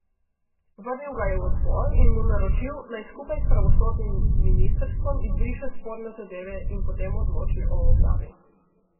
Vrnil ga je v odbor in mu naročil, naj skupaj s pravosodnim ministrstvom izbriše sporne zadeve in potem odloči o objavi.